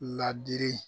Ladiri